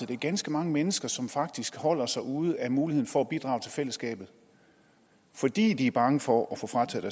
det er ganske mange mennesker som faktisk holder sig ude af muligheden for at bidrage til fællesskabet fordi de er bange for at få frataget